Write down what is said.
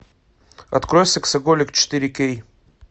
открой сексоголик четыре кей